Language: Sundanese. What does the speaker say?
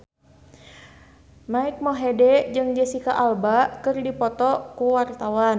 Mike Mohede jeung Jesicca Alba keur dipoto ku wartawan